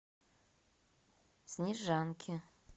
снежанки